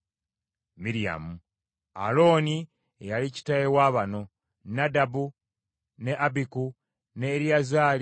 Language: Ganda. Alooni ye yali kitaawe wa bano: Nadabu, ne Abiku, ne Eriyazaali ne Isamaali.